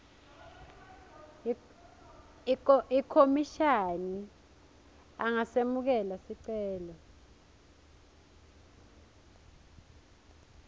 ikhomishani angasemukela sicelo